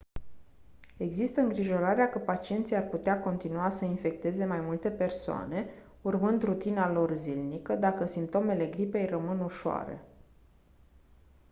există îngrijorarea că pacienții ar putea continua să infecteze mai multe persoane urmând rutina lor zilnică dacă simptomele gripei rămân ușoare